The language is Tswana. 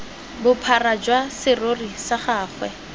bophara jwa serori sa gagwe